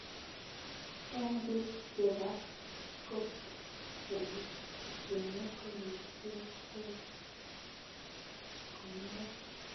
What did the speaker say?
Eng biik chebaa copd ole bunee koristo those koneer